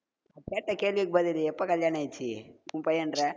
கேட்ட கேள்விக்கு பதில் எப்ப கல்யாண ஆயிச்சு உன் பையன்ற